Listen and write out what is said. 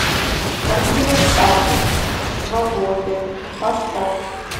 картина статус свободен поставь